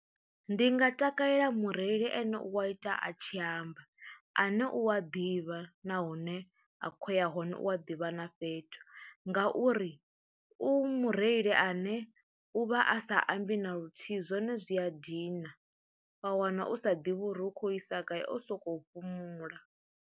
Ndi nga takalela mureili ane u wa ita a tshi amba ane u a ḓivha na hune a khou ya hone, u a ḓivha na fhethu ngauri u mureili ane u vha a sa ambi na luthihi zwone zwi a dina, wa wana u sa ḓivhi uri u khou isa gai o sokou fhumula.